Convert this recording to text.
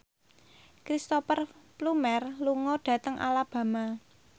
Cristhoper Plumer lunga dhateng Alabama